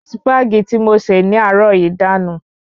Sípàgì tí mo ṣe ní àárò yìí dànù